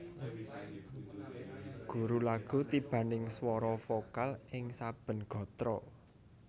Guru lagu tibaning swara vokal ing saben gatra